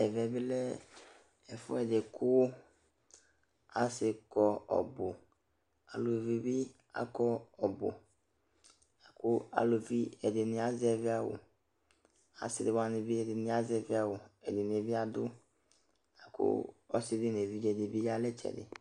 Ɛvɛ bɩ lɛ ɛfʋɛdɩ kʋ asɩ kɔ ɔbʋ, aluvi bɩ akɔ ɔbʋla kʋ aluvi ɛdɩnɩ azɛvɩ awʋ Asɩ wanɩ bɩ ɛdɩnɩ azɛvɩ awʋ, ɛdɩnɩ bɩ adʋ la kʋ ɔsɩ dɩ nʋ evidze dɩ bɩ ya nʋ ɩtsɛdɩ